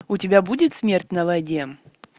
у тебя будет смерть на воде